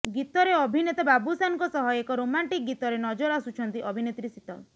ଗୀତରେ ଅଭିନେତା ବାବୁସାନଙ୍କ ସହ ଏକ ରୋମାଣ୍ଟିକ ଗୀତରେ ନଜର ଆସୁଛନ୍ତି ଅଭିନେତ୍ରୀ ଶୀତଲ